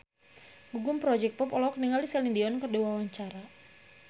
Gugum Project Pop olohok ningali Celine Dion keur diwawancara